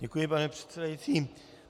Děkuji, pane předsedající.